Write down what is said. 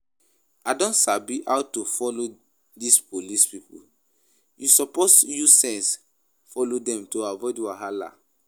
I don sabi how to follow dis police people, you suppose use sense follow dem to avoid wahala